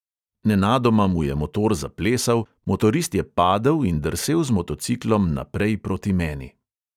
Nenadoma mu je motor zaplesal, motorist je padel in drsel z motociklom naprej proti meni.